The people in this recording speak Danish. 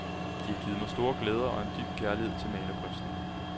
De har givet mig store glæder og en dyb kærlighed til malerkunsten.